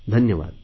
धन्यवाद